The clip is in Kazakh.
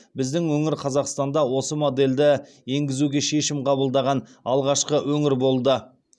біздің өңір қазақстанда осы модельді енгізуге шешім қабылдаған алғашқы өңір болды